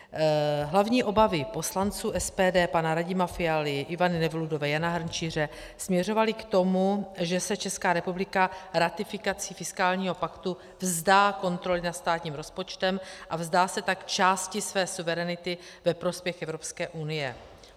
Hlavní obavy poslanců SPD, pana Radima Fialy, Ivany Nevludové, Jana Hrnčíře, směřovaly k tomu, že se Česká republika ratifikací fiskálního paktu vzdá kontroly nad státním rozpočtem a vzdá se tak části své suverenity ve prospěch Evropské unie.